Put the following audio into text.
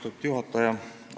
Austatud juhataja!